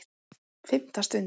FIMMTA STUND